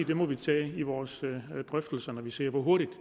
det må vi tage i vores drøftelser når vi ser hvor hurtigt